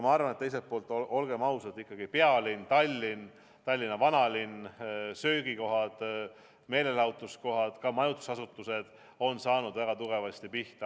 Teiselt poolt, olgem ausad, ikkagi pealinn Tallinn, Tallinna vanalinn, söögikohad, meelelahutuskohad, ka majutusasutused on saanud väga tugevasti pihta.